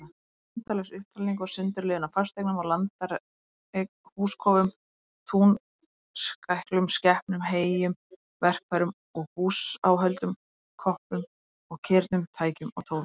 Endalaus upptalning og sundurliðun á fasteignum og landareign, húskofum og túnskæklum, skepnum og heyjum, verkfærum og búsáhöldum, koppum og kirnum, tækjum og tólum.